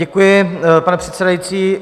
Děkuji, pane předsedající.